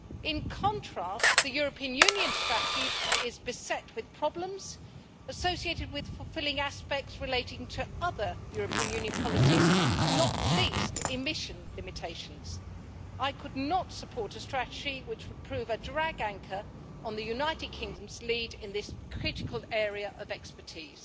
In contrast, the European Union strategy is beset with problems associated with fulfilling aspects relating to other European Union policies, not least emission limitations. I could not support a strategy which would prove a drag anchor on the United Kingdom's lead in this critical area of expertise.